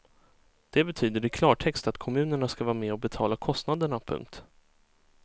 Det betyder i klartext att kommunerna ska vara med och betala kostnaderna. punkt